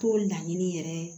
T'o laɲini yɛrɛ